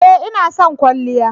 Ee! Ina son kwalliya